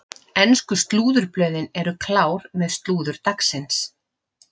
Ensku slúðurblöðin eru klár með slúður dagsins.